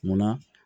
Munna